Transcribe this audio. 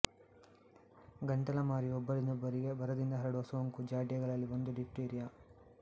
ಗಂಟಲಮಾರಿಯು ಒಬ್ಬರಿಂದೊಬ್ಬರಿಗೆ ಭರದಿಂದ ಹರಡುವ ಸೋಂಕು ಜಾಡ್ಯಗಳಲ್ಲಿ ಒಂದು ಡಿಫ್ತೀರಿಯ